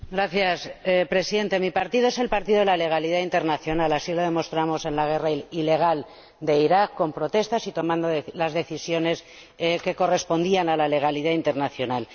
Señor Presidente, mi partido es el partido de la legalidad internacional, así lo demostramos en la guerra ilegal de Irak, con protestas y tomando las decisiones que correspondían a la legalidad internacional.